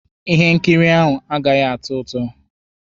Ihe nkiri ahụ agaghị atọ ụtọ.